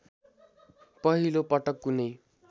पहिलो पटक कुनै